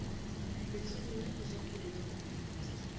letsogong la go ja poloko